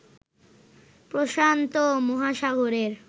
প্রশান্ত মহাসাগরের